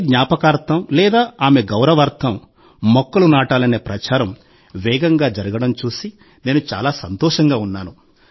తల్లి జ్ఞాపకార్థం లేదా ఆమె గౌరవార్థం మొక్కలు నాటాలనే ప్రచారం వేగంగా జరగడం చూసి నేను చాలా సంతోషంగా ఉన్నాను